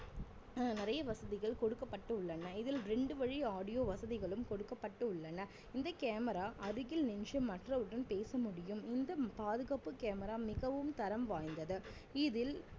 அஹ் நிறைய வசதிகள் கொடுக்கப்பட்டுள்ளன இதில் ரெண்டு வழி audio வசதிகளும் கொடுக்கப்பட்டுள்ளன இந்த camera அருகில் நின்று மற்றவவுடன் பேச முடியும் இந்த பாதுகாப்பு camera மிகவும் தரம் வாய்ந்தது இதில்